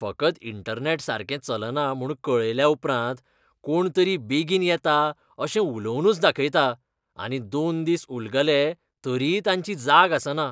फकत इंटरनॅट सारकें चलना म्हूण कळयल्या उपरांत कोणतरी बेगीन येता अशें उलोवनूच दाखयता आनी दोन दीस उलगले तरीय तांची जाग आसना.